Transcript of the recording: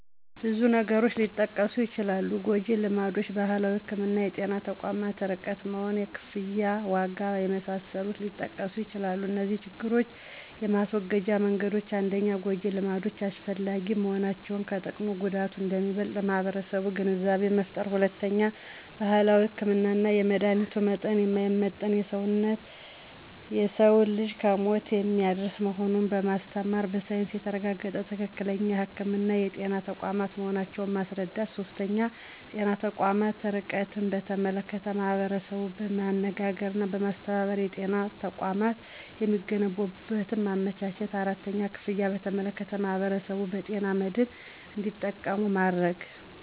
ብዙ ነገሮች ሊጠቀሱ ይችላሉ ጎጅልማዶች: ባህላዊ ህክምና: የጤና ተቋማት ርቀት መሆን: የክፍያ ዋጋ የመሳሰሉት ሊጠቀሱ ይችላሉ እነዚህን ችግሮች የማስወገጃ መንገዶች 1-ጎጂ ልማዶች አላስፈላጊ መሆናቸውን ከጥቅሙ ጉዳቱ አንደሚበልጥ ለማህበረሰቡ ግንዛቤ መፍጠር። 2-ባህላዊ ህክምና የመድሀኒቱ መጠን የማይመጠን የሰዉን ልጅ ለሞት የሚያደርስ መሆኑን በማስተማር በሳይንስ የተረጋገጠ ትክክለኛ ህክምና የጤና ተቋማት መሆናቸውን ማስረዳት። 3-የጤና ተቋማት ርቀትን በተመለከተ ማህበረሰቡን በማነጋገርና በማስተባበር የጤና ተቋማት የሚገነቡበትን ማመቻቸት 4-ክፍያን በተመለከተ ማህበረሰቡን በጤና መድን እንዱጠቀሙ ማድረግ።